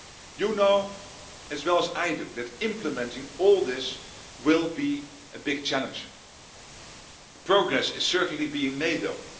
You know as well as I do that implementing all this will be a big challenge. Progress is certainly being made, though.